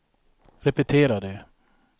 repetera det